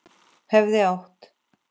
Hefði átt